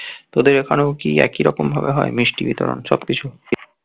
তোদের ওখানেও কি একইরকম ভাবে হয় মিষ্টি বিতরণ সব কিছু